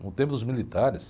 No tempo dos militares.